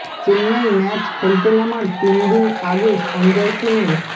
Chennai match খেলতে নামার তিন দিন আগে সঞ্জয় সেনের